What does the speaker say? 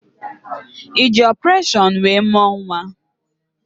Ị ji ọpụreshọn wee mụọ nwa?